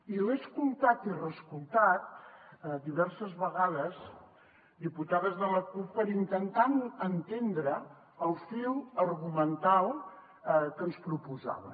i l’he escoltat i reescoltat diverses vegades diputades de la cup per intentar entendre el fil argumental que ens proposaven